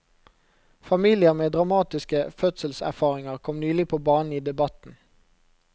Familier med dramatiske fødselserfaringer kom nylig på banen i debatten.